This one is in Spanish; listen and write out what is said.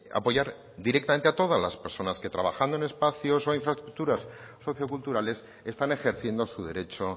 apoyar directamente a todas las personas que trabajando en espacios o infraestructuras socioculturales están ejerciendo su derecho